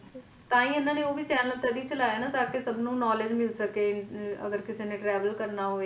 ਤਾਹਿ ਇਹਨਾਂ ਨੇ ਓਹੋ channel ਤਦ ਹੀ ਚਲਾਇਆ ਤਾ ਕਿ ਸਭ ਨੂੰ Knowledge ਮਿਲ ਸਕੇ ਅਗਰ ਕਿਸ਼ਨੇ ਨੇ Travel ਕਰਨਾ ਹੋਵੇ ਇਕ Germany Germany ਚ ਵੀ christmas ਹੀ ਜਾਦਾ ਮੰਨਦੇ ਆ।